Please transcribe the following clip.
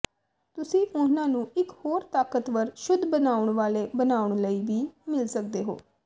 ਤੁਸੀਂ ਉਨ੍ਹਾਂ ਨੂੰ ਇਕ ਹੋਰ ਤਾਕਤਵਰ ਸ਼ੁੱਧ ਬਣਾਉਣ ਵਾਲੇ ਬਣਾਉਣ ਲਈ ਵੀ ਮਿਲ ਸਕਦੇ ਹੋ